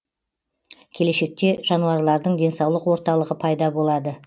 келешекте жануарлардың денсаулық орталығы пайда болады